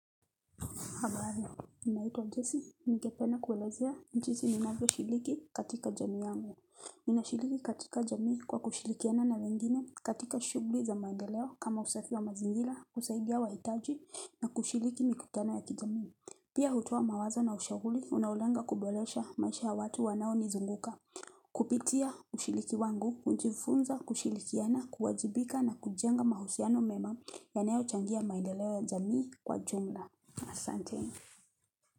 Habari, ninaitwa jesse, ningependa kuelezea jinsi ninavyoshiriki katika jamii yangu. Ninashiriki katika jamii kwa kushirikiana na wengine katika shughuli za maendeleo kama usafi wa mazingira kusaidia wahitaji na kushiriki mikutano ya kijamii. Pia hutoa mawazo na ushauri, unaolenga kuboresha maisha ya watu wanao nizunguka. Kupitia ushiriki kwangu, hujifunza kushirikiana, kuwajibika na, kujenga mahusiano mema, yanayo changia maendeleo ya jamii kwa jumla. Asanteni.